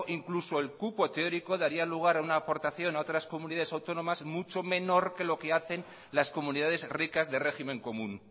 incluso el cupo teórico daría lugar a una aportación a otras comunidades autónomas mucho menor que lo que hacen las comunidades ricas de régimen común